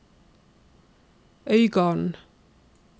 Øygarden